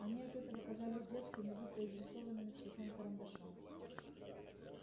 они от этого казались детскими будто изрисованными цветным карандашом